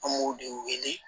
An m'o de wele